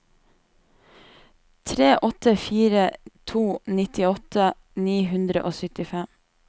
tre åtte fire to nittiåtte ni hundre og syttifem